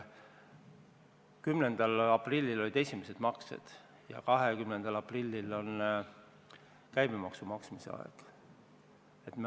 10. aprillil olid esimesed maksed ja 20. aprillil on käibemaksu maksmise aeg.